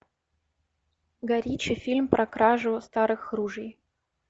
гай ричи фильм про кражу старых ружей